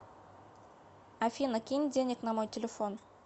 афина кинь денег на мой телефон